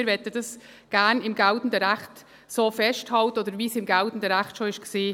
Wir möchten das gerne im geltenden Recht so festhalten oder so, wie es im geltenden Recht schon war.